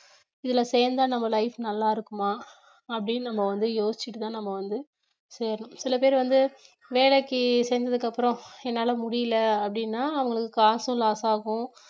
இதுல சேந்தா நம்ம life நல்லா இருக்குமா அப்படின்னு நம்ம வந்து யோசிச்சிட்டுதான் நம்ம வந்து சேரணும் சில பேர் வந்து வேலைக்கு சேர்ந்ததுக்கு அப்புறம் என்னால முடியல அப்படின்னா அவங்களுக்கு காசும் loss ஆகும்